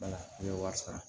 n ye wari sara